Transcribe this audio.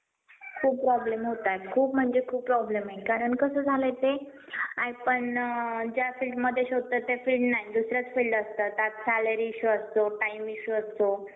अशी स्थिती समोर आली आहे. काही शाळांनी, शिक्षकांनी नवनवे प्रयोग करत सरकारी शाळेला नावारूपास आणल्याची उदाहरण कमी आहे. शाळेत